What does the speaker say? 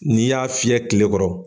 N'i y'a fiyɛ kile kɔrɔ.